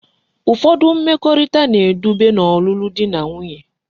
Ufodu mmekorita na edube na olulu di na nwunye